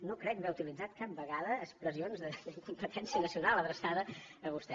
no crec haver utilitzat cap ve gada expressions d’incompetència nacional adreçada a vostè